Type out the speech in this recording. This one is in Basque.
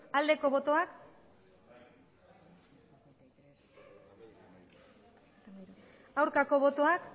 aldeko botoak aurkako botoak